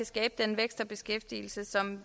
skabe den vækst og beskæftigelse som